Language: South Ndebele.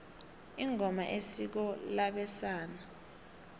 ingoma isiko labesana